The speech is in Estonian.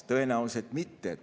Tõenäoliselt mitte.